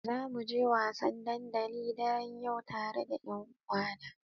Zamu je wasan dandali daren yau tare da ƴanuwana.